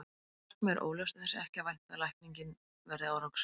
Ef markmiðið er óljóst er þess ekki að vænta að lækningin verði árangursrík.